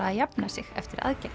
að jafna sig eftir aðgerðir